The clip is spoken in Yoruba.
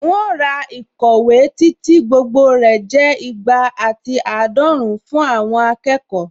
Un ó ra ìkọ̀wé tí tí gbogbo rẹ̀ jẹ́ ìgbà àti àádọ́run fún àwọn akẹ́kọ̀ọ́